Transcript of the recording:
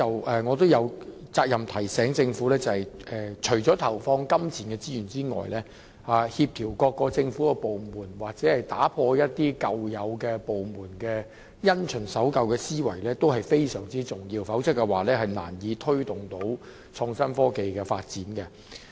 不過，我有責任提醒政府，除了投放金錢資源外，協調各個政府部門的工作及打破部門因循守舊的思維同樣非常重要，否則便難以推動創新科技的發展。